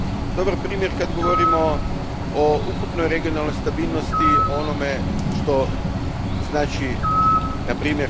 Dobar primjer kada govorimo o ukupnoj regionalnoj stabilnosti, onome što znači npr.